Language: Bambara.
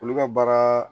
Olu ka baara